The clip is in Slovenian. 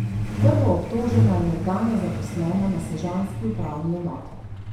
Prvoobtožena je nekdanja zaposlena na sežanski upravni enoti.